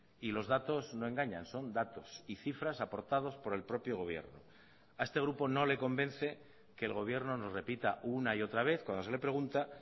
y los datos no engañan son datos y cifras aportados por el propio gobierno a este grupo no le convence que el gobierno nos repita una y otra vez cuando se le pregunta